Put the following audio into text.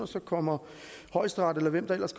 så kommer højesteret eller hvem det ellers